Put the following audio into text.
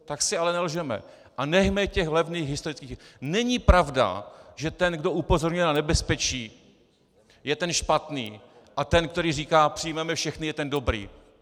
Tak si ale nelžeme a nechme těch levných historických - není pravda, že ten, kdo upozorňuje na nebezpečí, je ten špatný, a ten, který říká "přijmeme všechny", je ten dobrý.